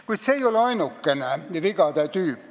Kuid see ei ole ainukene vigade tüüp.